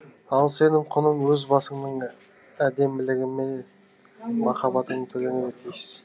ал сенің құның өз басыңның әдемілігімен махаббатыңмен төленуге тиіс